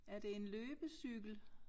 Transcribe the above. Er det en løbecykel?